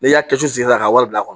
N'i y'a kɛ su la ka wari bila kɔnɔ